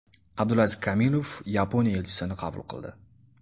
Abdulaziz Kamilov Yaponiya elchisini qabul qildi.